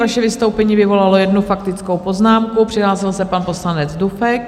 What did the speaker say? Vaše vystoupení vyvolalo jednu faktickou poznámku, přihlásil se pan poslanec Dufek.